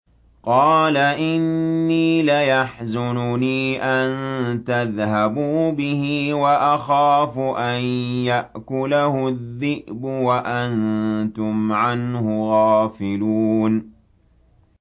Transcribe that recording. قَالَ إِنِّي لَيَحْزُنُنِي أَن تَذْهَبُوا بِهِ وَأَخَافُ أَن يَأْكُلَهُ الذِّئْبُ وَأَنتُمْ عَنْهُ غَافِلُونَ